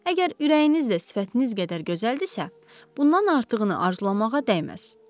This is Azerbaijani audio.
Əgər ürəyiniz də sifətiniz qədər gözəldirsə, bundan artığını arzulamağa dəyməz.